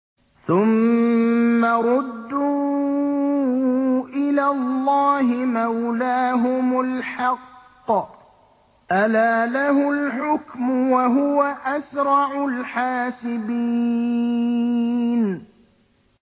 ثُمَّ رُدُّوا إِلَى اللَّهِ مَوْلَاهُمُ الْحَقِّ ۚ أَلَا لَهُ الْحُكْمُ وَهُوَ أَسْرَعُ الْحَاسِبِينَ